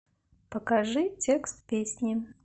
покажи текст песни